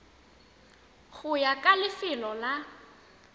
go ya ka lefelo la